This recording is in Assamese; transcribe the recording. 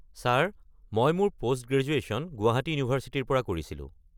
ছাৰ মই মোৰ পোষ্ট-গ্ৰেজুৱেশ্যন গুৱাহাটী ইউনিভাৰ্চিটিৰ পৰা কৰিছিলো।